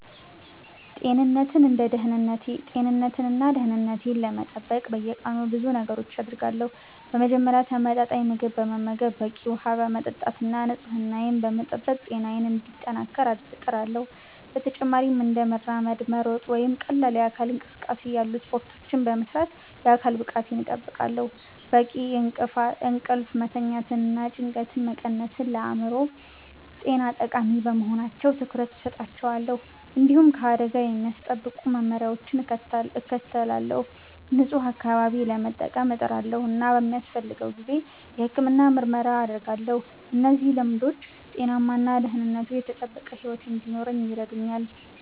ጤንነቴን እና ደህንነቴን ለመጠበቅ በየቀኑ ብዙ ነገሮችን አደርጋለሁ። በመጀመሪያ ተመጣጣኝ ምግብ በመመገብ፣ በቂ ውሃ በመጠጣት እና ንጽህናዬን በመጠበቅ ጤናዬን እንዲጠናከር እጥራለሁ። በተጨማሪም እንደ መራመድ፣ መሮጥ ወይም ቀላል የአካል እንቅስቃሴ ያሉ ስፖርቶችን በመስራት የአካል ብቃቴን እጠብቃለሁ። በቂ እንቅልፍ መተኛትና ጭንቀትን መቀነስም ለአእምሮ ጤና ጠቃሚ በመሆናቸው ትኩረት እሰጣቸዋለሁ። እንዲሁም ከአደጋ የሚያስጠብቁ መመሪያዎችን እከተላለሁ፣ ንጹህ አካባቢ ለመጠቀም እጥራለሁ እና በሚያስፈልገው ጊዜ የሕክምና ምርመራ አደርጋለሁ። እነዚህ ልምዶች ጤናማ እና ደህንነቱ የተጠበቀ ሕይወት እንድኖር ይረዱኛል